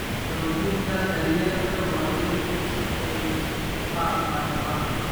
Xoojinta daryeelka waayeelka si ay u caafimaad qabaan.